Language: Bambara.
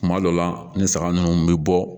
Kuma dɔ la ni saga ninnu bɛ bɔ